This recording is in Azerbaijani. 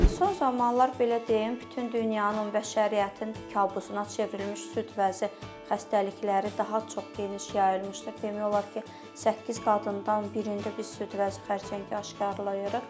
Son zamanlar belə deyim, bütün dünyanın, bəşəriyyətin kabusuna çevrilmiş süd vəzi xəstəlikləri daha çox geniş yayılmışdır, demək olar ki, səkkiz qadından birində biz süd vəzi xərçəngi aşkarlayırıq.